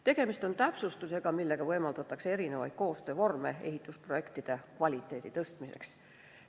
Tegemist on täpsustusega, millega võimaldatakse erisuguseid koostöövorme ehitusprojektide kvaliteedi parandamiseks.